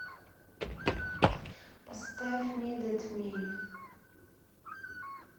поставь нидэд ми